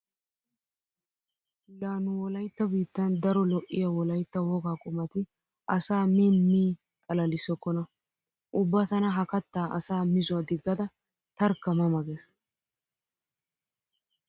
La nu wolaytta biittan daro lo'iya wolaytta wogaa qumati asaa miin mii xalalissokkona. Ubba tana ha kattaa asa mizuwa diggada tarkka ma ma gees.